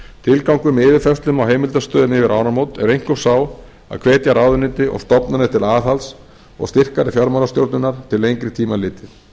tilgangur með yfirfærslu á heimildastöðum yfir áramót er einkum sá að hvetja ráðuneyti og stofnanir til aðhalds og styrkari fjármálastjórnar til lengri tíma litið